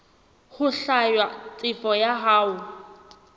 ho hlwaya tefo ya hao